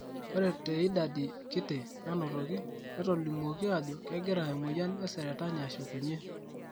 Ore te idadi kiti naanotoki ,netolimuoki ajo kegira emoyian e seretani ashukunyie.